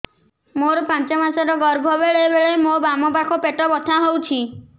ମୋର ପାଞ୍ଚ ମାସ ର ଗର୍ଭ ବେଳେ ବେଳେ ମୋ ବାମ ପାଖ ପେଟ ବଥା ହଉଛି